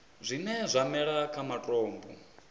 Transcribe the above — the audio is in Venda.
zwine zwa mela kha matombo